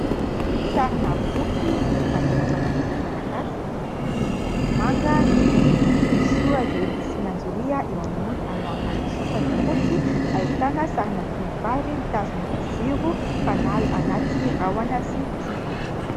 Sarina boky nosoratana mpanioratra malagasy, miloko manga ny fonony. Misy soratra hoe "Lisy mianjoria" eo ambony ary eo ambanin'ny soratra fotsy ahitana sarina tovovavy mitazona jiro fanala anaty rahona sy kintana.